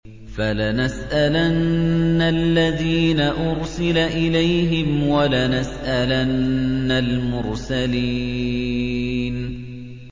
فَلَنَسْأَلَنَّ الَّذِينَ أُرْسِلَ إِلَيْهِمْ وَلَنَسْأَلَنَّ الْمُرْسَلِينَ